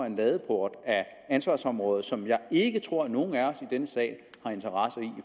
en ladeport af ansvarsområder som jeg ikke tror at nogen af os i denne sal har interesse i i